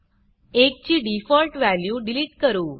ची default value delete करू